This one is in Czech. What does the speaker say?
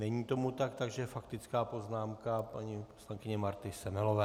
Není tomu tak, takže faktická poznámka paní poslankyně Marty Semelové.